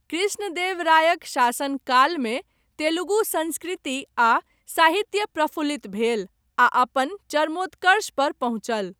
कृष्णदेवरायक शासनकालमे तेलुगु संस्कृति आ साहित्य प्रफुल्लित भेल आ अपन चरमोत्कर्ष पर पहुँचल।